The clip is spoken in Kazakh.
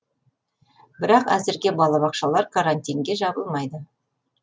бірақ әзірге балабақшалар карантинге жабылмайды